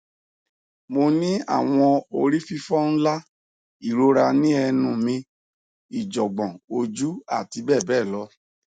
mo n ni awọn orififo nla irora ni ẹnu mi ijogbon oju ati bẹbẹ lọ